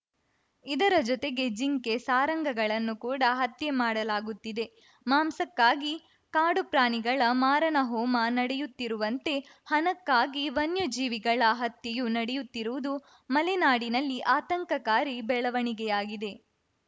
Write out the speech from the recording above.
ಇದರ ಜೊತೆಗೆ ಜಿಂಕೆ ಸಾರಂಗಗಳನ್ನು ಕೂಡಾ ಹತ್ಯೆ ಮಾಡಲಾಗುತ್ತಿದೆ ಮಾಂಸಕ್ಕಾಗಿ ಕಾಡು ಪ್ರಾಣಿಗಳ ಮಾರಣಹೋಮ ನಡೆಯುತ್ತಿರುವಂತೆ ಹಣಕ್ಕಾಗಿ ವನ್ಯಜೀವಿಗಳ ಹತ್ಯೆಯೂ ನಡೆಯುತ್ತಿರುವುದು ಮಲೆನಾಡಿನಲ್ಲಿ ಆತಂಕಕಾರಿ ಬೆಳವಣಿಗೆಯಾಗಿದೆ